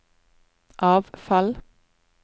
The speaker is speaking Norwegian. avfall